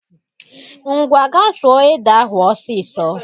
Ngwa ga suo ede ahụ ọsịsọ